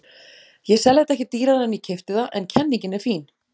Ég sel þetta ekki dýrara en ég keypti það en kenningin er fín.